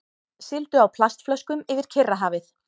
Sigldu á plastflöskum yfir Kyrrahafið